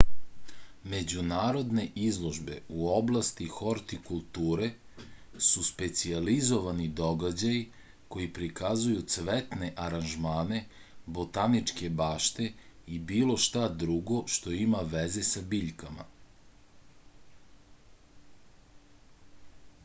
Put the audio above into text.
međunarodne izložbe u oblasti hortikulture su specijalizovani događaji koji prikazuju cvetne aranžmane botaničke bašte i bilo šta drugo što ima veze sa biljkama